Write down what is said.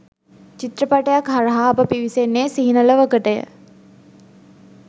චිත්‍රපටයක් හරහා අප පිවිසෙන්නේ සිහින ලොවකටය.